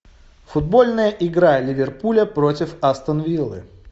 футбольная игра ливерпуля против астон виллы